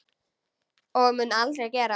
Og mun aldrei gera.